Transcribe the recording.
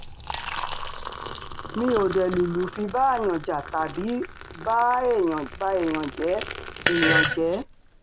mi ò um dé lùlù fi báàyàn jà tàbí ba um èèyàn jẹ́ èèyàn jẹ́